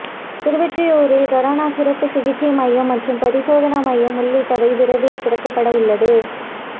திருவொற்றியூரில் corona சிறப்பு சிகிச்சை மையம் மற்றும் பரிசோதனை மையம் உள்ளிட்டவை விரைவில் திறக்கப்பட உள்ளது